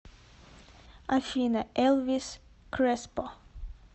афина элвис креспо